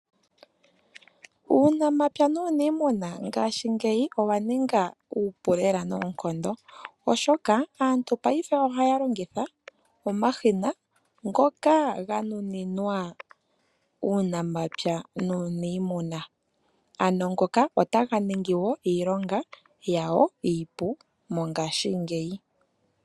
Uunamapya nuuniimuna ngaashingeyi owa ninga uupu lela noonkondo, oshoka aantu paife ohaya longitha omashina ngoka ga nuninwa uunamapya nuuniimuna. Otaga ningi wo iilonga yawo iipu mongashingeyi.